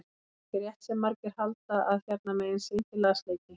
Það er ekki rétt sem margir halda að hérna megin sé enginn lasleiki.